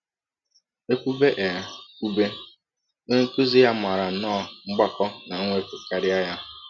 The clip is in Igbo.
E kwụbe E kwụbe, onye nkụzi ya maara nnọọ mgbakọ na mwepụ karịa ya.